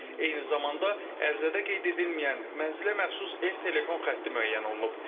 Eyni zamanda ərizədə qeyd edilməyən mənzilə məxsus ev telefon xətti müəyyən olunub.